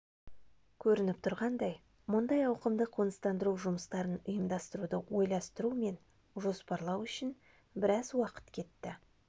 көрініп тұрғандай мұндай ауқымды қоныстандыру жұмыстарын ұйымдастыруды ойластыру мен жоспарлау үшін біраз уақыт кетті